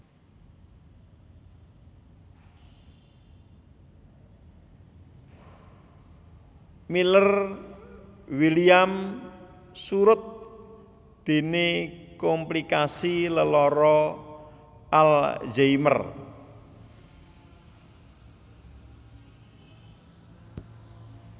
Miller Williams surut déné komplikasi lelara Alzheimer